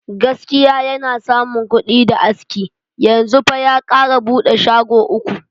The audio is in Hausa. Gaskiya yana samu kuɗi da aski, yanzu fa ya kara bude shago uku.